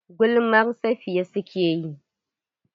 Gulmar Safiya suke yi.